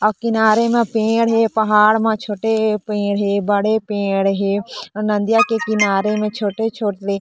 अउ किनारे म पेड़ हे पहाड़ म छोटे पेड़ हे बड़े पेड़ हे अउ नदिया के किनारे में छोटे-छोटे--